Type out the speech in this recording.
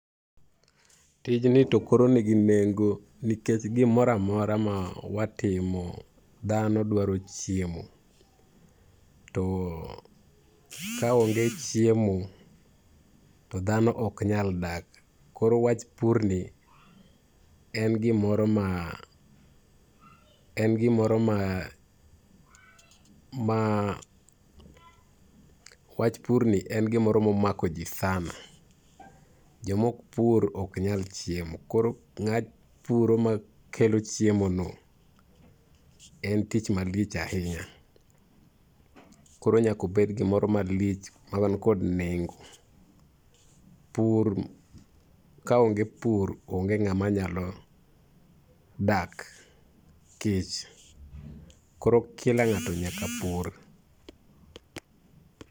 Tijni to koro nigi nengo nikech gimoro amora ma watimo, dhano dwaro chiemo, to ka onge chiemo, to dhano ok nyal dak. Koro wach purni wach purni ni en gimoro momako ji sana, jomok pur ok nyal chiemo, koro ng'a puro makelo chiemono en tich malich ahinya. Koro nyaka obed gimoro malich mawan kod nengo. Pur, ka onge pur onge ng'ama nyalo dak kech. Koro kila ng'ato nyaka pur.